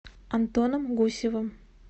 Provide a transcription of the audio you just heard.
антоном гусевым